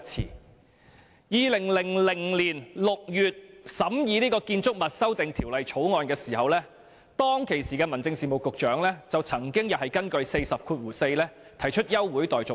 在2000年6月審議《2000年建築物條例草案》時，當時的民政事務局局長曾經根據《議事規則》第404條提出休會待續議案。